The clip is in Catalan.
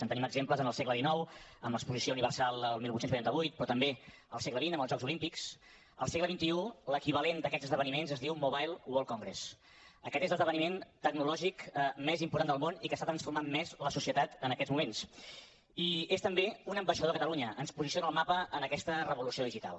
en tenim exemples en el segle xix amb l’exposició universal del divuit vuitanta vuit però també al segle xx esdeveniments es diu mobile world congress aquest és l’esdeveniment tecnològic més important del món i que està transformant més la societat en aquests moment i és també un ambaixador de catalunya ens posiciona al mapa en aquesta revolució digital